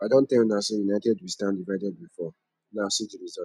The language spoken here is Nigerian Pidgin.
i don tell una say united we standdivided we fall now see the result